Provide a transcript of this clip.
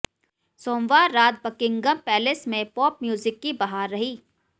सोमवार रात Buckingham Palace में पॉप म्यूजिक की बहार रही